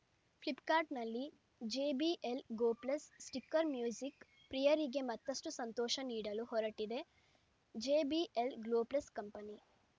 ಫ್ಲಿಪ್‌ಕಾರ್ಟ್‌ನಲ್ಲಿ JBL go plus speaker music ಪ್ರಿಯರಿಗೆ ಮತ್ತಷ್ಟುಸಂತೋಷ ನೀಡಲು ಹೊರಟಿದೆ ಜೆಬಿಎಲ್‌ ಗೋ ಪ್ಲಸ್‌ ಕಂಪನಿ